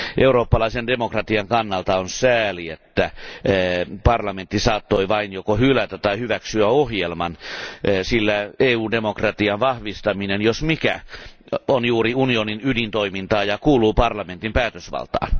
Eurooppalaisen demokratian kannalta on sääli, että parlamentti saattoi vain joko hylätä tai hyväksyä ohjelman, sillä EU demokratian vahvistaminen jos mikä on juuri unionin ydintoimintaa ja kuuluu parlamentin päätösvaltaan.